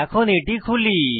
এখন এটি খুলি